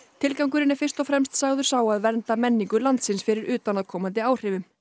tilgangurinn er fyrst og fremst sagður sá að vernda menningu landsins fyrir utanaðkomandi áhrifum